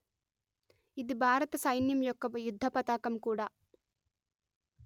ఇది భారత సైన్యం యొక్క యుద్ధపతాకం కూడా